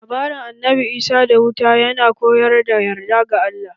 Labarin Annabi Isa da wuta ya na koyar da yarda ga Allah.